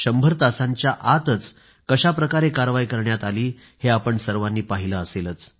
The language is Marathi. शंभर तासांच्या आतच कशा प्रकारे कारवाई करण्यात आली हे आपण सर्वांनी पाहिलं असेलच